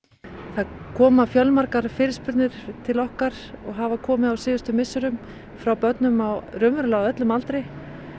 það koma fjölmargar fyrirspurnir til okkar og hafa komið á síðustu misserum frá börnum á á öllum aldri